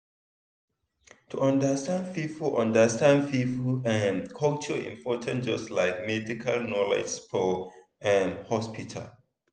to understand people understand people um culture important just like medical knowledge for um hospital.